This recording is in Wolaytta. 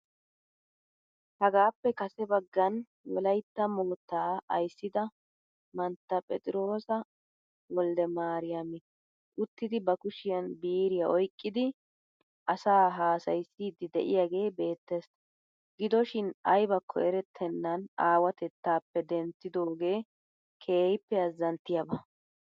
Hagaappe kase baggan Wolaitta moottaa ayssida manttaa Petroosa Woldemariam uttidi ba kushshiyaan biiriyaa oykkidi asaa haasaysiid de'iyaagee beettees. Gidoshiin aybbakko erettennan awatettaappe denttidoogee keehiippe azanttiyaaba.